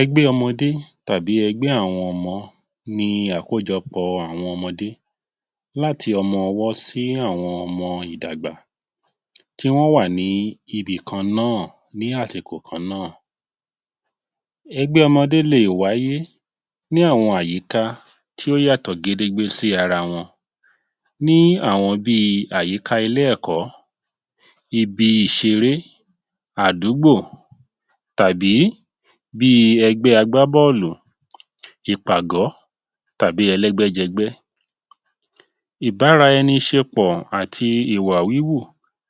Ẹgbẹ́ ọmọdé tàbí ẹgbẹ́ àwọn ọmọ ni àkójọpọ̀ àwọn ọmọdé láti ọmọ ọwọ́ sí àwọn ọmọ ìdàgbà tí wọ́n wà ní ibi kan náà, ní àsìkò kan náà. Ẹgbẹ́ ọmọdé lè wáyé ní àwọn àyíká tí ó yàtọ̀ gedegbe sí ara wọn. Ní àwọn bíi àyíká ilé-ẹ̀kọ́, ibi ìṣeré, àdúgbò, tàbí bí ẹgbẹ́ àgbá bọ́ọ̀lù, ìpàgọ́ tàbí ẹlẹ́gbẹ́-jẹgbẹ́. Ìbárá ẹni ṣe pọ̀ àti ìwà wíwù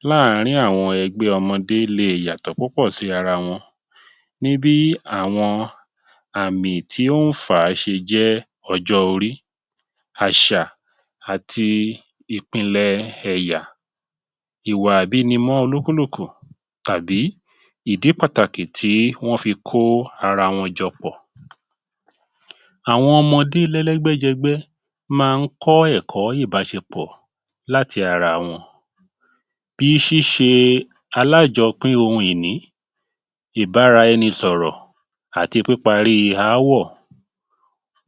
láàárín àwọn ẹgbẹ́ ọmọdé lè yàtò púpọ̀ sí ara wọn ní bí àwọn àmì tí ó ń fà á ṣe jẹ́ ọjọ́ orí, àṣà àti ìpínlẹ̀ ẹ̀yà, ìwà àbínimọ́ olúkúlùkù, tàbí ìdí pàtàkì tí wọ́n fi kó ara wọn jọ pọ̀. Àwọn ọmọdé lẹ́lẹ́gbẹ́jẹgbẹ́ máa ń kọ́ ẹ̀kọ́ ìbáṣepọ̀ láti ara wọn bí ṣíṣe alájọpín ohun ìní, ìbáraẹnisọ̀rọ̀, àti pípa rí ááwọ̀.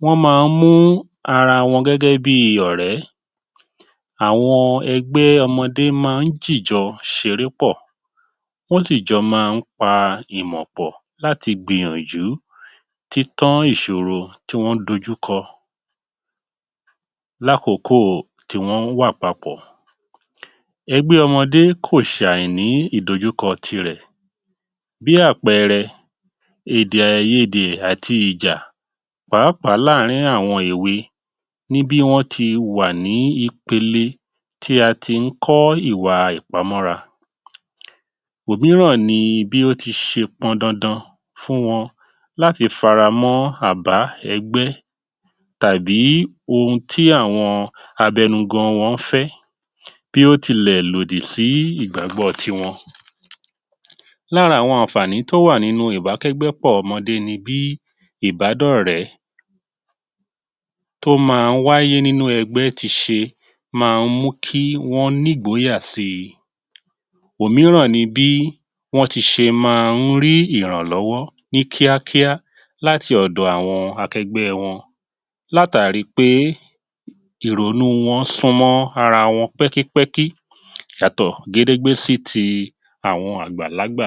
Wọ́n máa ń mú ara wọn gẹ́gẹ́ bí ọ̀rẹ́. Àwọn ẹgbẹ́ ọmọdé máa ń jìjọ ṣeré pọ̀, wọ́n sì jọ̀ máa ń pa ìmọ̀ pọ̀ láti gbìyànjú títán ìṣòro tí wọ́n ń dojú kọ lákòókò tí wọ́n ń wà papọ̀. Ẹgbẹ́ ọmọdé kò ṣàìní ìdojúkọ ti rẹ̀. Bí àpẹẹrẹ: èdè-àìyedè àti ìjà pàápàá láàárín àwọn èwe ní bí wọ́n ti wà ní ipele tí a ti ń kọ́ ìwà ìpamọ́ra. Òmíràn ni bí ó ti ṣe pọn dandan fún wọn láti faramọ́ àbá ẹgbẹ́ tàbí ohun tí àwọn abẹnugan wọ́n fẹ́ bí ó tilẹ̀ lòdì sí ìgbàgbọ́ tiwọn. Lára àwọn àǹfààní tó wà nínú ìbákẹ́gbẹ́pọ̀ ọmọdé ni bí ìbádọ́rẹ̀ẹ́ tó ma wáyé nínú ẹgbẹ́ tí ṣe máa ń mú kí wọ́n ní ìgbóyà si. Òmíràn ni bí wọ́n ti ṣe máa ń rí ìrànlọ́wọ́ ní kíákíá láti ọ̀dọ̀ àwọn àkẹgbẹ wọn látàrí pé ìrònú wọn sún mọ́ ara wọn pẹ́kí pẹ́kí yàtọ̀ gédégbé sí ti àwọn àgbàlágbà.